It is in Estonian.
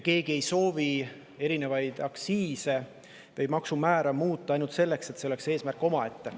Keegi ei soovi aktsiise või maksumäärasid muuta ainult seetõttu, et see on eesmärk omaette.